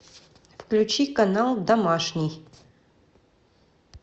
включи канал домашний